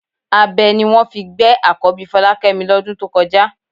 Abẹ ni wọ́n fi gbé àkọ́bí Fọlákẹ́mi lọ́dún tó kọjá